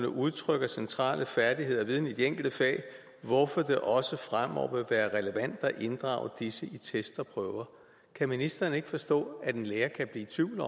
udtrykker centrale færdigheder og viden i de enkelte fag hvorfor det også fremover vil være relevant at inddrage disse i test og prøver kan ministeren ikke forstå at en lærer kan blive i tvivl